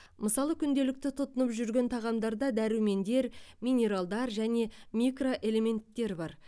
мысалы күнделікті тұтынып жүрген тағамдарда дәрумендер минералдар және микроэлементтер бар